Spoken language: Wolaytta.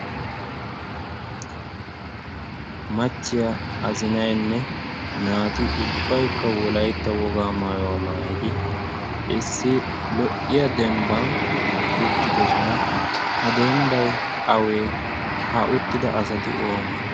machchiya azinainne naati ubbaikka wolaitta wogaa maayuwaa maayidi issi lo'iya dembban uttidosona ha dembbai awee ha uttida asati oonee